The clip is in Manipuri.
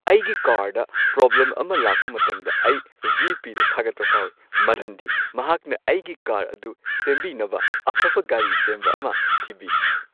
ꯑꯩꯒꯤ ꯀꯥꯔꯗ ꯄ꯭ꯔꯣꯕ꯭ꯂꯦꯝ ꯑꯃ ꯂꯥꯛꯄ ꯃꯇꯝꯗ, ꯑꯩ ꯚꯤ. ꯄꯤ. ꯗ ꯊꯥꯒꯠꯄ ꯐꯥꯎꯏ ꯃꯔꯝꯗꯤ ꯃꯍꯥꯛꯅ ꯑꯩꯒꯤ ꯀꯥꯔ ꯑꯗꯨ ꯁꯦꯝꯕꯤꯅꯕ ꯑꯐꯕ ꯒꯥꯔꯤ ꯁꯦꯝꯕ ꯑꯃ ꯊꯤꯕꯤ꯫